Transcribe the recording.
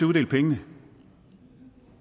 uddele pengene